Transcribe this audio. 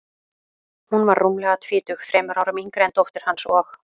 Hún var rúmlega tvítug, þremur árum yngri en dóttir hans, og